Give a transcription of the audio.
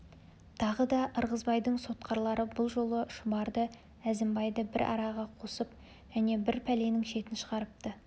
тары да ырғызбайдың сотқарлары бұл жолы шұбарды әзімбайды бір араға қосып және бір пәленің шетін шығарыпты